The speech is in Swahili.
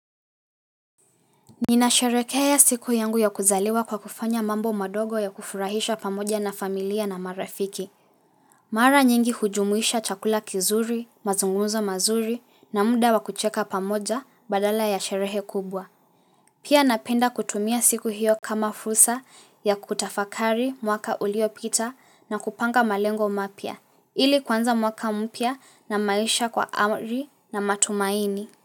Ninasherekea siku yangu ya kuzaliwa kwa kufanya mambo madogo ya kufurahisha pamoja na familia na marafiki. Mara nyingi hujumuisha chakula kizuri, mazungumzo mazuri na muda wa kucheka pamoja badala ya sherehe kubwa. Pia napenda kutumia siku hiyo kama fursa ya kutafakari mwaka uliopita na kupanga malengo mapya. Ili kuanza mwaka mpya na maisha kwa ari na matumaini.